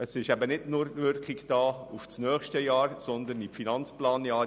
Daraus ergibt sich nicht nur eine Wirkung auf das kommende Jahr, sondern auf die Finanzplanjahre.